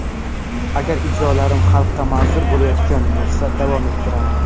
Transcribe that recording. Agar ijrolarim xalqqa manzur bo‘layotgan bo‘lsa, davom ettiraman.